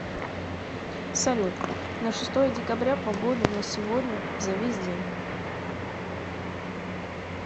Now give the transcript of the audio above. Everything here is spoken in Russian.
салют на шестое декабря погоду на сегодня за весь день